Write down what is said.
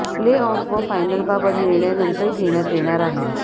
play off व फायनलबाबत निर्णय नंतर घेण्यात येणार आहे